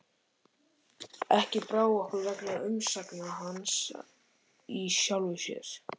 Ekki brá okkur vegna umsagna hans í sjálfu sér.